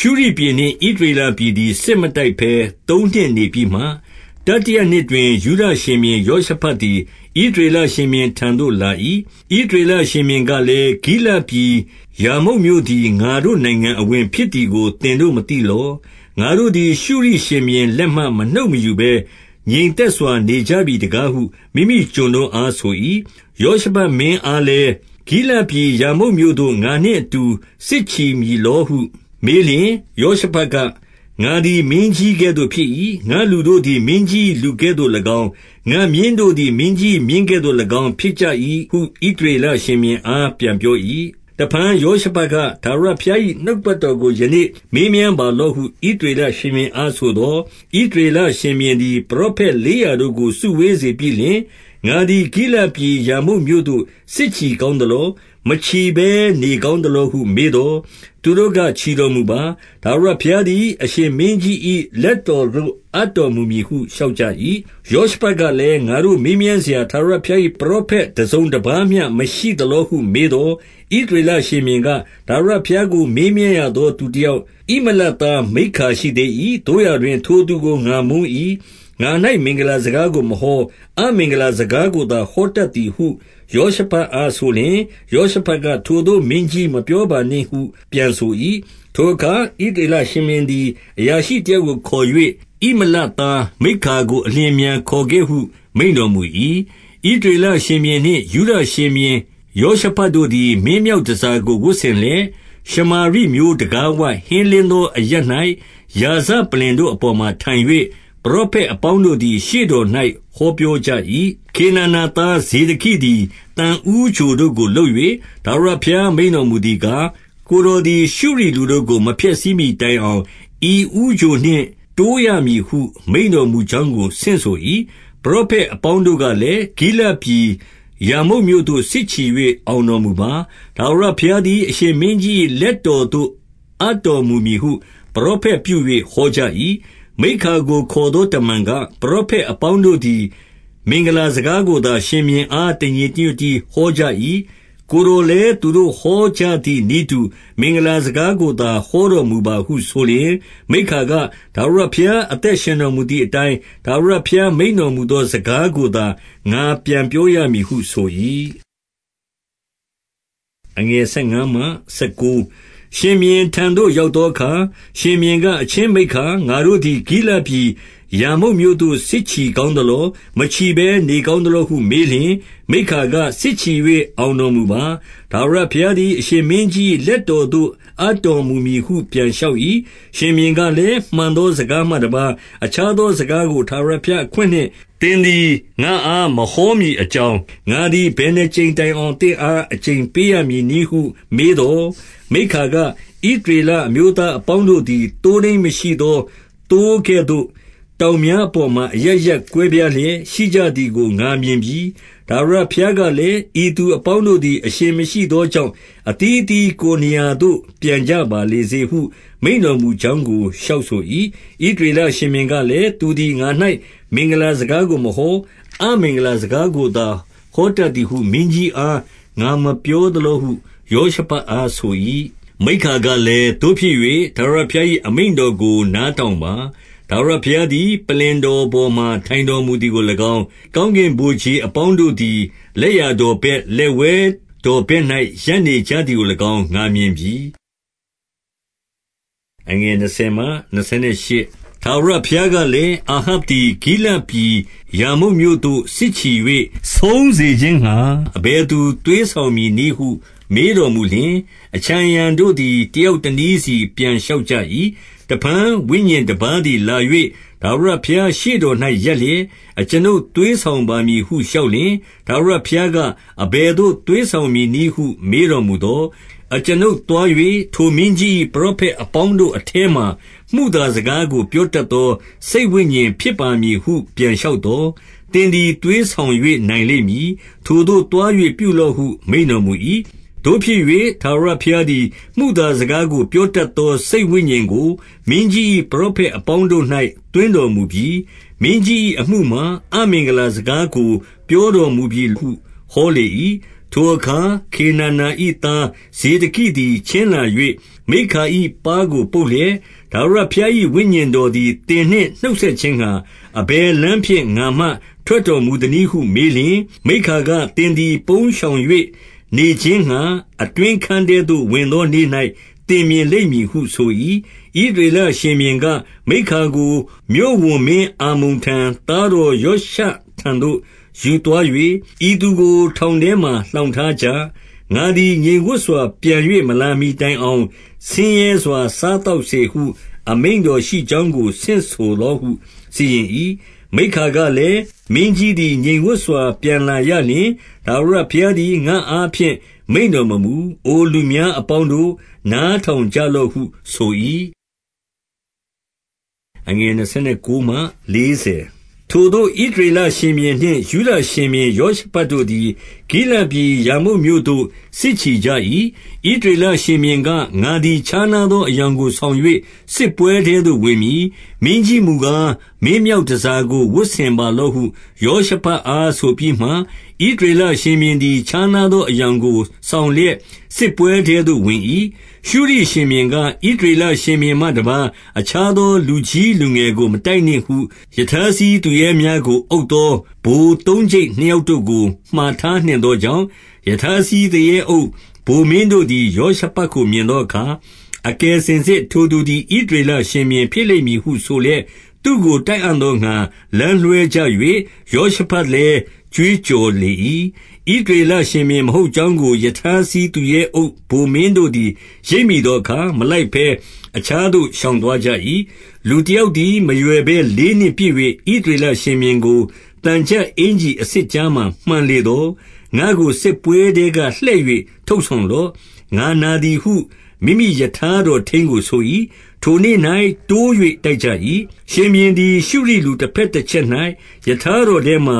ရှုရိပြည်နှင့် ဣသရေလပြည်သည် စစ်မတိုက် ဘဲ သုံးနှစ်နေပြီးမှ၊ 2 တတိယနှစ်တွင်၊ ယုဒရှင်ဘုရင်ယောရှဖတ်သည် ဣသရေလရှင်ဘုရင်ထံသို့ လာ၏။ 3 ဣသရေလရှင်ဘုရင်ကလည်း၊ ဂိလဒ်ပြည် ရာမုတ်မြို့သည် ငါတို့ နိုင်ငံအဝင်ဖြစ်သည်ကို သင်တို့ မသိလော။ ငါတို့သည် ရှုရိရှင်ဘုရင်လက်မှ မနှုတ်မယူဘဲ ငြိမ်သက်စွာ နေကြပြီတကားဟု မိမိကျွန်တို့အားဆို၏။ 4 ယောရှဖတ်မင်းအားလည်း၊ ဂိလဒ်ပြည် ရာမုတ်မြို့သို့ ငါနှင့်အတူ စစ်ချီမည်လောဟုမေးလျှင်၊ ယောရှဖတ်က၊ ငါသည်မင်းကြီးကဲ့သို့ဖြစ်၏။ ငါ့လူတို့သည် မင်းကြီး၏လူကဲ့သို့၎င်း၊ ငါ့မြင်းတို့သည် မင်းကြီး၏ မြင်းကဲ့ သို့၎င်းဖြစ်ကြသည်ဟု ဣသရေလရှင်ဘုရင်အား ပြန် ပြော၏။ 5 တဖန်ယောရှဖတ်က၊ ထာဝရဘုရား၏ နှုတ် ကပတ်တော်ကို ယနေ့မေးမြန်းပါလော့ဟု ဣသရေလ ရှင်ဘုရင်အားဆိုသော်၊ 6 ဣသရေလရှင်ဘုရင်သည် ပရောဖက်လေးရာ တို့ကို စုဝေးစေပြီးလျှင်၊ ငါသည်ဂိလဒ်ပြည် ရာမုတ်မြို့သို့ စစ်ချီကောင်းသလော။ မချီဘဲ နေကောင်းသလောဟု မေးသော်၊ သူတို့ကချီတော်မူပါ။ ထာဝရဘုရားသည် အရှင်မင်းကြီး၏လက်တော်သို့ အပ်တော်မူမည်ဟု လျှောက်ကြ၏။ 7 ယောရှဖတ်ကလည်း၊ ငါတို့မေးမြန်းစရာ ထာဝရဘုရား၏ ပရောဖက် တစုံ တပါးမျှမရှိသလောဟု မေးသော်၊ 8 ဣသရေလရှင်ဘုရင်က၊ ထာဝရဘုရားကို မေးမြန်းရသော သူတယောက်ဣမလသား မိက္ခာရှိသေး ၏။ သို့ရာတွင် ထိုသူကို ငါမုန်း၏။ ငါ၌ မင်္ဂလာစကားကို မဟော။ အမင်္ဂလာစကားကိုသာ ဟောတတ်သည်ဟု ယောရှဖတ်အားဆိုလျှင်၊ ယောရှဖတ်က ထိုသို့မင်းကြီး မပြောပါနှင့်ဟု ပြန်ဆို၏။ 9 ထိုအခါ ဣသရေလရှင်ဘုရင်သည် အရာရှိ တယောက်ကိုခေါ်၍၊ ဣမလသားမိက္ခာကို အလျင်အမြန် ခေါ်ခဲ့ဟုမိန့်တော်မူ၏။ 10 ဣသရေလရှင်ဘုရင်နှင့် ယုဒရှင်ဘုရင် ယောရှ ဖတ်တို့သည် မင်းမြောက်တန်ဆာကို ဝတ်ဆင်လျက် ရှမာရိမြို့တံခါးဝရှေ့၊ ဟင်းလင်းသော အရပ်၌ ရာဇ ပလ္လင်တို့အပေါ်မှာထိုင်၍၊ ပရောဖက်အပေါင်းတို့သည် ရှေ့တော်၌ ဟောပြောကြ၏။ 11 ခေနာနာသားဇေဒကိသည် သံဦးချိုတို့ကို လုပ်၍၊ ထာဝရဘုရား မိန့်တော်မူသည်ကား၊ ကိုယ်တော် သည် ရှုရိလူတို့ကို မဖျက်ဆီးမှီ တိုင်အောင် ဤဦးချိုတို့နှင့် တိုးရမည်ဟုမိန့်တော်မူကြောင်းကို ဆင့်ဆို၏။ 12 ပရောဖက်အပေါင်းတို့ကလည်း၊ ဂိလဒ်ပြည် ရာမုတ်မြို့သို့ စစ်ချီ၍ အောင်တော်မူပါ။ ထာဝရဘုရား သည် အရှင်မင်းကြီး၏ လက်တော်သို့ အပ်တော်မူမည်ဟု ပရောဖက်ပြု၍ ဟောကြ၏။ 13 မိက္ခာကိုခေါ်သောတမန်က၊ ပရောဖက် အပေါင်းတို့သည် မင်္ဂလာစကားကိုသာ ရှင်ဘုရင်အား တညီတညွတ်တည်းဟောကြ၏။ ကိုယ်တော်လည်း သူတို့ ဟောကြသည်နည်းတူ မင်္ဂလာစကားကိုသာ ဟောတော် မူပါဟုဆိုလျှင်၊ 14 မိက္ခာတ၊ ထာဝရဘုရားအသက်ရှင်တော်မူ သည်အတိုင်း ထာဝရဘုရားမိန့်တော်မူသော စကားကို သာ ငါပြန်ပြောရမည်ဟုဆို၏။ 15 ရှင်ဘုရင်ထံသို့ ရောက်သောအခါ ရှင်ဘုရင်က၊ အချင်းမိက္ခာ၊ ငါတို့သည် ဂိလဒ်ပြည်ရာမုတ်မြို့သို့ စစ်ချီ ကောင်းသလော။ မချီဘဲနေကောင်းသလောဟုမေးလျှင်၊ မိက္ခာက၊ စစ်ချီ၍ အောင်တော်မူပါ။ ထာဝရဘုရားသည် အရှင်မင်းကြီး၏ လက်တော်သို့ အပ်တော်မူမည်ဟု ပြန်လျှောက်၏။ 16 ရှင်ဘုရင်ကလည်း၊ မှန်သောစကားမှတပါး အခြားသောစကားကို ထာဝရဘုရားအခွင့်နှင့် သင်သည် ငါ့အားမဟောမည်အကြောင်း၊ ငါသည် ဘယ်နှစ်ကြိမ် တိုင်အောင် သင့်အား အကျိန်ပေးရမည်နည်းဟု မေးသော်၊ 17 မိက္ခာက၊ ဣသရေလအမျိုးသားအပေါင်းတို့ သည် သိုးထိန်းမရှိ သောသိုးကဲ့သို့၊ တောင်များအပေါ်မှာ အရပ်ရပ်ကွဲပြားလျက် ရှိကြသည်ကို ငါမြင်ပြီ။ ထာဝရ ဘုရားကလည်း၊ ဤသူအပေါင်းတို့သည် အရှင်မရှိသော ကြောင့် အသီးအသီးကိုယ်နေရာသို့ ပြန်ကြပါလေစေဟု မိန့်တော်မူကြောင်းကို လျှောက်ဆို၏။ 18 ဣသရေလရှင်ဘုရင်ကလည်း၊ သူသည်ငါ၌ မင်္ဂလာစကားကိုမဟော၊ အမင်္ဂလာစကားကိုသာ ဟောတတ်သည်ဟု မင်းကြီးအား ငါမပြောသလောဟု ယောရှဖတ်အားဆို၏။ 19 မိက္ခာကလည်း၊ သို့ဖြစ်၍ ထာဝရဘုရား၏ အမိန့်တော်ကို နားထောင်ပါ။ ထာဝရဘုရားသည် ပလ္လင် တော်ပေါ်မှာ ထိုင်တော်မူသည်ကို၎င်း၊ ကောင်းကင် ဗိုလ်ခြေအပေါင်းတို့သည် လက်ျာတော်ဘက် လက်ဝဲ တော်ဘက်၌ ရပ်နေကြသည်ကို၎င်း ငါမြင်ပြီ။ 20 ထာဝရဘုရားကလည်း၊ အာဟပ်သည် ဂိလဒ် ပြည်ရာမုတ်မြို့သို့ စစ်ချီ၍ ဆုံးစေခြင်းငှါ အဘယ်သူ သွေးဆောင်မည်နည်းဟု မေးတော်မူလျှင်၊ အခြံအရံ တော်တို့သည် တယောက်တနည်းစီ ပြန်လျှောက်ကြ၏။ 21 တဖန်ဝိညာဉ်တပါးသည် လာ၍ ထာဝရဘုရား ရှေ့တော်၌ ရပ်လျက်၊ အကျွန်ုပ်သွေးဆောင်ပါမည်ဟု လျှောက် လျှင်၊ 22 ထာဝရဘုရားက အဘယ်သို့သွေးဆောင်မည် နည်းဟု မေးတော်မူသော်၊ အကျွန်ုပ်သွား၍ ထိုမင်းကြီး၏ ပရောဖက်အပေါင်းတို့ထဲမှာ မုသာစကားကို ပြောတတ် သော စိတ်ဝိညာဉ်ဖြစ်ပါမည်ဟု ပြန်လျှောက်သော်၊ သင်သည် သွေးဆောင်၍ နိုင်လိမ့်မည်။ ထိုသို့သွား၍ ပြုလော့ဟု မိန့်တော်မူ၏။ 23 သို့ဖြစ်၍ ထာဝရဘုရားသည် မုသာစကားကို ပြောတတ်သော စိတ်ဝိညာဉ်ကို မင်းကြီး၏ ပရောဖက် အပေါင်းတို့၌ သွင်းတော်မူပြီ။ မင်းကြီး၏အမှုမှာ အမင်္ဂလာစကားကို ပြောတော်မူပြီဟု ဟောလေ၏။ 24 ထိုအခါခေနာနာ၏ သားဇေဒကိသည် ချဉ်းလာ ၍ မိက္ခာ၏ ပါးကိုပုတ်လျက်၊ ထာဝရဘုရား၏ ဝိညာဉ် တော်သည် သင်နှင့်နှုတ်ဆက်ခြင်းငှါ အဘယ်လမ်းဖြင့် ငါမှထွက်တော်မူသနည်းဟု မေးလျှင်၊ 25 မိက္ခာက၊ သင်သည် ပုန်းရှောင်၍ နေခြင်းငှါ အတွင်းခန်းထဲသို့ ဝင်သောနေ့၌ သင်မြင်လိမ့်မည်ဟု ဆို၏။ 26 ဣသရေလရှင်ဘုရင်က၊ မိက္ခာကို မြို့ဝန်မင်း အာမုန်ထံ၊ သားတော်ယောရှထံသို့ ယူသွား၍၊ 27 ဤသူကိုထောင်ထဲမှာ လှောင်ထားကြ။ ငါသည် ငြိမ်ဝပ်စွာ ပြန်၍ မလာမှီတိုင်အောင် ဆင်းရဲစွာ စား သောက်စေဟု အမိန့်တော်ရှိကြောင်းကို ဆင့်ဆိုလော့ဟု စီရင်၏။ 28 မိက္ခာကလည်း၊ မင်းကြီးသည် ငြိမ်ဝပ်စွာ ပြန်လာရလျှင် ထာဝရဘုရားသည်ငါ့အားဖြင့် မိန့်တော် မမူ၊ အိုလူများအပေါင်းတို့၊ နားထောင်ကြလော့ဟုဆို၏။ 29 ထိုသို့ ဣသရေလရှင်ဘုရင်နှင့် ယုဒရှင်ဘုရင် ယောရှဖတ်တို့သည် ဂိလဒ်ပြည်ရာမုတ်မြို့သို့ စစ်ချီကြ၏။ 30 ဣသရေလရှင်ဘုရင်က၊ ငါသည်ခြားနားသော အယောင်ကို ဆောင်၍စစ်ပွဲထဲသို့ ဝင်မည်။ မင်းကြီး မူကား မင်းမြောက်တန်ဆာကို ဝတ်ဆင်ပါလော့ဟု ယောရှဖတ်အားဆိုပြီးမှ၊ ဣသရေလရှင်ဘုရင်သည် ခြားနားသော အယောင်ကို ဆောင်လျက် စစ်ပွဲထဲသို့ ဝင်၏။ 31 ရှုရိရှင်ဘုရင်က၊ ဣသရေလရှင်ဘုရင်မှတပါး အခြားသော လူကြီးလူငယ်ကို မတိုက်နှင့်ဟု ရထားစီး သူရဲများကို အုပ်သော ဗိုလ်သုံးကျိပ်နှစ်ယောက်တို့ကိုမှာ ထားနှင့်သောကြောင့်၊ 32 ရထားစီးသူရဲအုပ်ဗိုလ်မင်းတို့သည် ယောရှဖတ် ကိုမြင်သောအခါ၊ အကယ်စင်စစ်ထိုသူသည် ဣသရေလ ရှင်ဘုရင်ဖြစ်လိမ့်မည်ဟု ဆိုလျက်သူ့ကို တိုက်အံ့သောငှါ လမ်းလွှဲကြ၍၊ ယောရှဖတ်လည်း ကြွေးကြော်လေ၏။ 33 ဣသရေလရှင်ဘုရင် မဟုတ်ကြောင်းကို ရထား စီးသူရဲအုပ်ဗိုလ်မင်းတို့သည် ရိပ်မိသောအခါ၊ မလိုက်ဘဲ အခြားသို့ ရှောင်သွားကြ၏။ 34 လူတယောက်သည် မရွယ်ဘဲလေးနှင့်ပစ်၍၊ ဣသရေလရှင်ဘုရင်ကို သံချပ်အင်္ကျီအဆစ်ကြားမှာ မှန်လေသော်၊ ငါ့ကိုစစ်ပွဲထဲက လှည့်၍ ထုတ်ဆောင် လော့။ ငါနာသည်ဟု မိမိရထားတော်ထိန်းကို ဆို၏။ 35 ထိုနေ့၌တိုး၍ တိုက်ကြ၏။ ရှင်ဘုရင်သည် ရှုရိလူတဘက်တချက်၌ရထားတော်ထဲမှာ